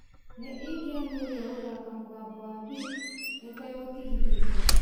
nĩ ingĩamĩũria gũthaka mũgambo wa beep ĩtegũtigithĩria